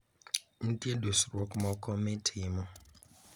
Nitie dusruok moko mitimo.